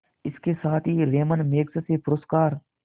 इसके साथ ही रैमन मैग्सेसे पुरस्कार